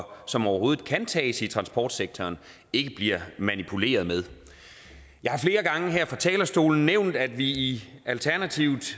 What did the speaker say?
som overhovedet kan tages i transportsektoren ikke bliver manipuleret med jeg har flere gange her fra talerstolen nævnt at vi i alternativet